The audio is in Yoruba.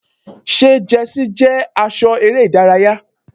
Ṣé jẹ́sí jẹ́ aṣọ eré ìdárayá?